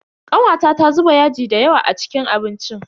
Kanwata ta zuba yaji dayawa a cikin abincin.